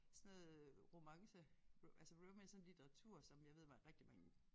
Sådan noget romance altså romance sådan litteratur som jeg ved rigtig mange